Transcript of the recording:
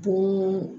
Bon